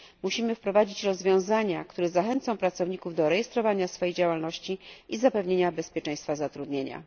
Musimy wprowadzić rozwiązania, które zachęcą pracowników do rejestrowania swojej działalności i zapewnienia bezpieczeństwa zatrudnienia.